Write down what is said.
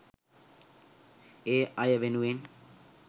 ඒ අය වෙනුවෙන්.